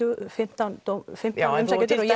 fimmtán fimmtán umsækjendur já